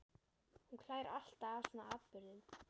Hún hlær alltaf að svona atburðum.